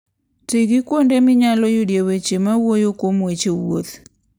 Ti gi kuonde minyalo yudoe weche mawuoyo kuom weche wuoth.